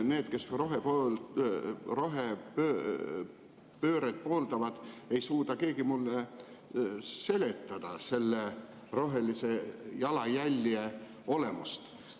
Need, kes rohepööret pooldavad, ei suuda keegi mulle seletada selle rohelise jalajälje olemust.